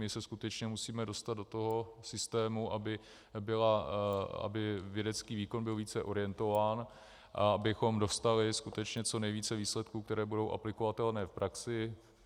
My se skutečně musíme dostat do toho systému, aby vědecký výkon byl více orientován a abychom dostali skutečně co nejvíce výsledků, které budou aplikovatelné v praxi.